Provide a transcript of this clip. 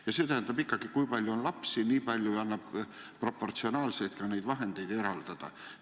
Ja see tähendab ikkagi, et kui palju on lapsi, siis tuleks proportsionaalselt ka rohkem raha eraldada.